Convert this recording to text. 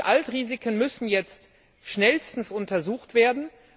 Die Altrisiken müssen jetzt schnellstens untersucht werden.